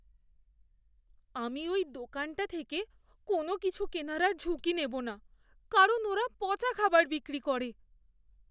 আমি ওই দোকানটা থেকে কোনওকিছু কেনার আর ঝুঁকি নেবো না কারণ ওরা পচা খাবার বিক্রি করে।